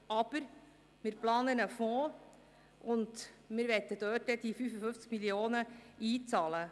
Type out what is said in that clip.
Aber wir planen einen Fonds, und wir möchten die 55 Mio. Franken in diesen einzahlen.